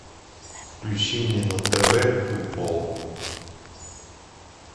включи мне на тв футбол